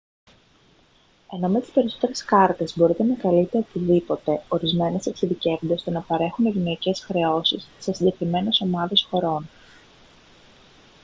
ενώ με τις περισσότερες κάρτες μπορείτε να καλείτε οπουδήποτε ορισμένες εξειδικεύονται στο να παρέχουν ευνοϊκές χρεώσεις σε συγκεκριμένες ομάδες χωρών